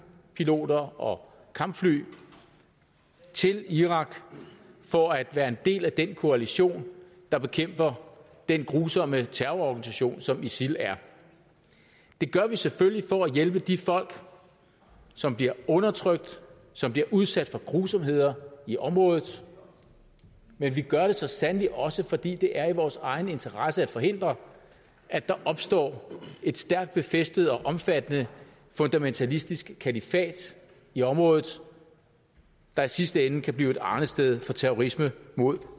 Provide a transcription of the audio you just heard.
piloter og kampfly til irak for at være en del af den koalition der bekæmper den grusomme terrororganisation som isil er det gør vi selvfølgelig for at hjælpe de folk som bliver undertrykt og som bliver udsat for grusomheder i området men vi gør det så sandelig også fordi det er i vores egen interesse at forhindre at der opstår et stærkt befæstet og omfattende fundamentalistisk kalifat i området der i sidste ende kan blive et arnested for terrorisme mod